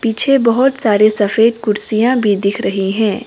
पीछे बहोत सारी सफेद कुर्सियां भी दिख रही है।